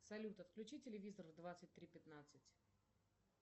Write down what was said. салют отключи телевизор в двадцать три пятнадцать